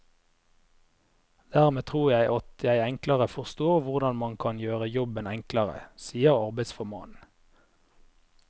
Dermed tror jeg at jeg enklere forstår hvordan man kan gjøre jobben enklere, sier arbeidsformannen.